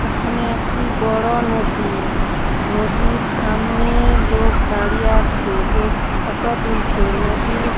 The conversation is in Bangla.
এখানে একটি বড় নদী। নদীর সামনে লোক দাঁড়িয়ে আছে। লোক স ফটো তুলছে। নদীর।